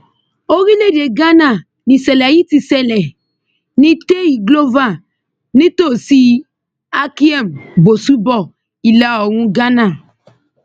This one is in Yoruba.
orílẹèdè ghana nìṣẹlẹ yìí ti ṣe ní tei glover nítòsí akyem bosùbọ ìlàoòrùn ghana